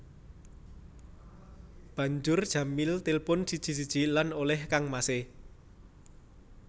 Banjur Jamil tilpun siji siji lan olèh kangmasé